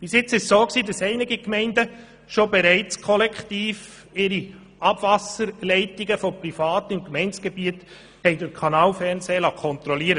Bisher liessen einige Gemeinden ihre Abwasserleitungen bereits kollektiv von privaten Unternehmen mittels Kanalfernsehen kontrollieren.